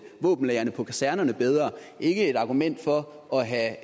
våbenlagre på kasernerne bedre ikke et argument for at have